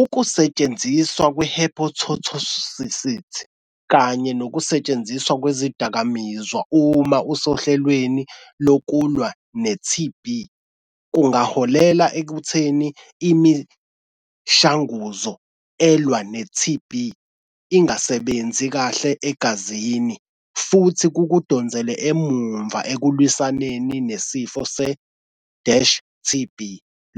Ukusetshenziswa kwe-hepatotoxicity kanye nokusetshenziswa kwezidakamizwa uma usohlelweni lokulwa ne-T_B kungaholela ekutheni imishanguzo elwa ne-T_B ingasebenzi kahle egazini. Futhi kukudonsele emumva ekulwisaneni nesifo se-dash T_B.